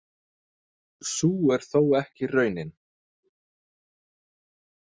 Sú er þó ekki raunin.